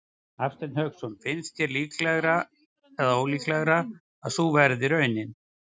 Hafsteinn Hauksson: Finnst þér líklegra eða ólíklegra að sú verði raunin?